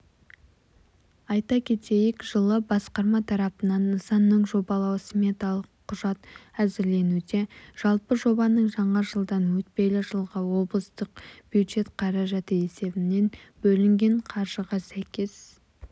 айта кетейік жылы басқарма тарапынан нысанныңжобалау-сметалық құжат әзірленуде жалпы жобаның жаңа жылдан өтпелі жылға облыстық бюджет қаражаты есебінен бөлінген қаржыға сәйкес